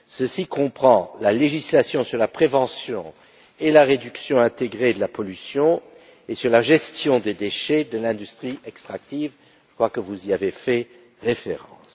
Il comprend la législation sur la prévention et la réduction intégrées de la pollution et sur la gestion des déchets de l'industrie extractive, je crois que vous y avez fait référence.